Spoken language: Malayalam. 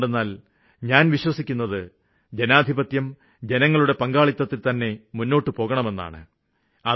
എന്തുകൊണ്ടെന്നാല് ഞാന് വിശ്വസിക്കുന്നത് ജനാധിപത്യം ജനങ്ങളുടെ പങ്കാളിത്തത്തില്തന്നെ മുന്നോട്ടു പോകണമെന്നാണ്